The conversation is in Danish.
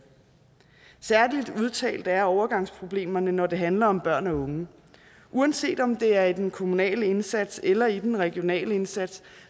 særlig udtalt er overgangsproblemerne når det handler om børn og unge uanset om det er i den kommunale indsats eller i den regionale indsats